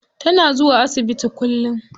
Tana zuwa asibiti kullum.